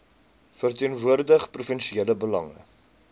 verteenwoordig provinsiale belange